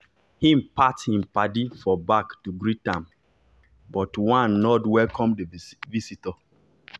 he pat him paddy for back to greet am but one nod welcome the visitor.